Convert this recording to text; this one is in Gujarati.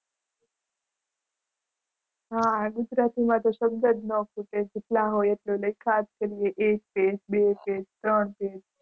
હા હા ગુજરાતીમાં તો શબ્દ જ ન ખૂટે. જેટલા હોય એટલા લખ્યા જ કરીએ એક બે પેજ ત્રણ પેજ.